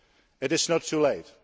It is not too late.